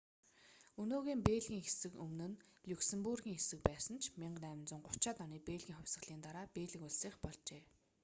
өнөөгийн бельгийн хэсэг өмнө нь люксембургийн хэсэг байсан ч 1830-аад оны бельгийн хувьсгалын дараа бельги улсынх болжээ